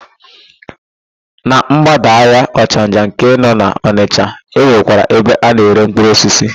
Na ḿgbádà ahịa Ọchanja nke nọ n'Ọnịsha, e nwekwara ebe a na-ere mkpụrụosisi.